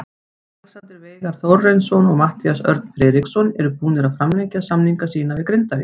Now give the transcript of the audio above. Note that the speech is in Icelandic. Alexander Veigar Þórarinsson og Matthías Örn Friðriksson eru búnir að framlengja samninga sína við Grindavík.